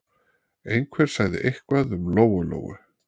Einhver sagði eitthvað um Lóu-Lóu.